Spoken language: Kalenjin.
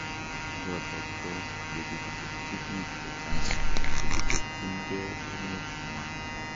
Yotok ko yekikitupji biik chechang chekibirchin gee emet nywa